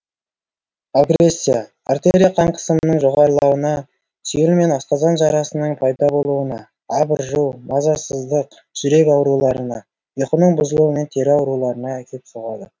агрессия артерия қан қысымының жоғарылауына сүйел мен асқазан жарасының пайда болуына абыржу мазасыздық жүрек ауруларына ұйқының бұзылуы мен тері ауруларына әкеліп соғады